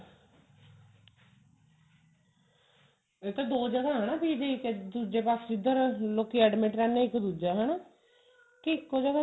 ਇਹ ਤਾਂ ਦੋ ਜਗ੍ਹਾ ਹੈ ਨਾ PGI ਇੱਕ ਦੁੱਜੇ ਪਾਸੇ ਜਿਦਰ ਲੋਕੀ admit ਰਹਿੰਦੇ ਨੇ ਇੱਕ ਦੁੱਜਾ ਹਨਾ ਕਿ ਇੱਕੋ ਜਗ੍ਹਾ